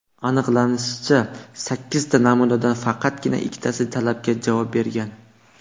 Aniqlanishicha, sakkizta namunadan faqatgina ikkitasi talabga javob bergan.